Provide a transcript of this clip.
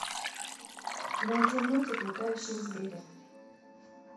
найди мультик летающие звери